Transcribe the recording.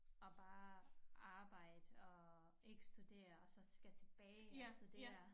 At bare arbejde og ikke studere og så skal tilbage og studere